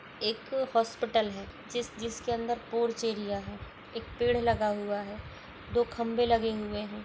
एक हॉस्पिटल है जिस जिसके अंदर पोर्च एरिया है एक पेड़ लगा हुआ है दो खंबे लगे हुए है।